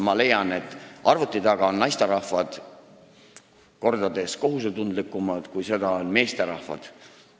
Ma leian, et arvuti taga on naisterahvad kordades kohusetundlikumad, kui seda on meesterahvad.